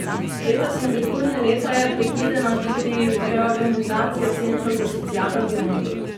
Letos in prihodnje leto je predvidena tudi reorganizacija centrov za socialno delo.